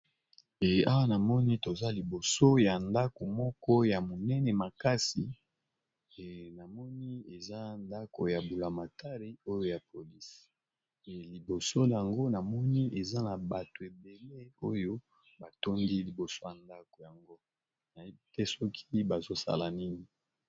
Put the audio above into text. Awa namoni toza liboso ya ndako moko ya monene makasi ! Namoni eza ndako ya bulamatari oyo ya polisi. E liboso na ngo, namoni eza na bato ebele oyo batondi liboso ya ndako yango. Na yebite soki bazosala nini.